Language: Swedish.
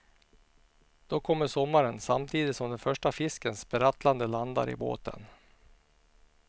Då kommer sommaren samtidigt som den första fisken sprattlande landar i båten.